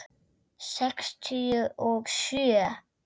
Sextíu og sjö.